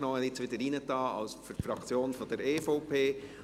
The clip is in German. Er hat sich jetzt wieder hineingetan für die Fraktion der EVP.